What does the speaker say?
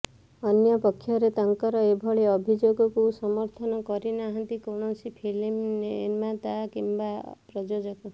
ଅନ୍ୟପକ୍ଷରେ ତାଙ୍କର ଏଭଳି ଅଭିଯୋଗକୁ ସମର୍ଥନ କରିନାହାନ୍ତି କୌଣସି ଫିଲ୍ମ ନିର୍ମାତା କିମ୍ବା ପ୍ରଯୋଜକ